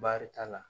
Baarita la